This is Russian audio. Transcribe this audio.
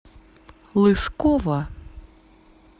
лысково